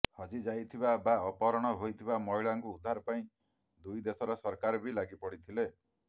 ହଜିଯାଇଥିବା ବା ଅପହରଣ ହୋଇଥିବା ମହିଳାଙ୍କୁ ଉଦ୍ଧାର ପାଇଁ ଦୁଇ ଦେଶର ସରକାର ବି ଲାଗିପଡିଥିଲେ